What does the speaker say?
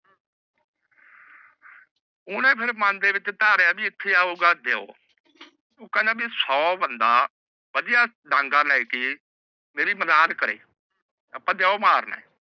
ਓਹਨੇ ਫਿਰ ਮਨ ਦੇ ਵਿੱਚ ਧਾਰਿਆ ਵੀ ਇੱਥੇ ਆਊਗਾ ਦਿਓ। ਉਹ ਕਹਿੰਦਾ ਵੀ ਸੋ ਬੰਦਾ ਵਧੀਆ ਡਾਂਗਾ ਲੈਕੇ ਮੇਰੀ ਮਦਾਦ ਕਰੇ।